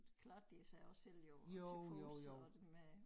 Klarede de sig også selv jo til fods og med